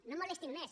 no molestin més